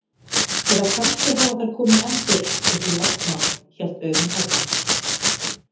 Eða kannski hafa þær komið enn fyrr, upp úr landnámi, hélt Auðunn áfram.